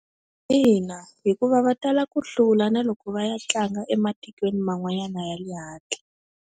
Ina, hikuva va tala ku hlula na loko va ya tlanga ematikweni man'wanyana ya le handle.